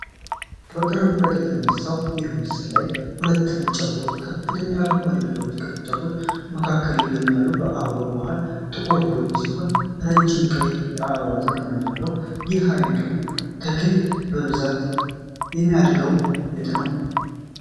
በቅርብ ርቀት በተነሳው ይህ ምስል ላይ ሁለት ነጭ አበቦች በከፍተኛ አረንጓዴ ቅጠሎችና ቅርንጫፎች መካከል ይገኛሉ። የአበባው መሃል ጥቁር ቡኒ ሲሆን፣ ረጅም ቀይ የአበባ ዘር መያዣ አለው። የዚህ ዓይነቱ ተክል በብዛት የሚያድገው የት ነው?